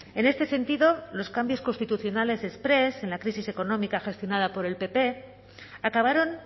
en este sentido los cambios constitucionales exprés en la crisis económica gestionada por el pp acabaron